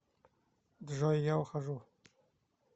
джой я ухожу